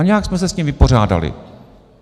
A nějak jsme se s tím vypořádali.